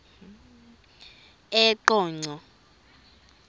eqonco